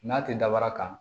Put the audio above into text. N'a tɛ dabara kan